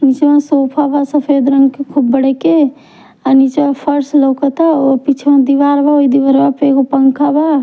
पीछवां sofa बा सफ़ेद रंग के खूब बड़े के और निचवा फर्श लउकता और पीछवां दीवार बा ओहि दीवरवा पर एगो पंखा बा--